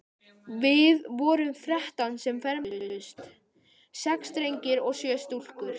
Við vorum þrettán sem fermdumst, sex drengir og sjö stúlkur.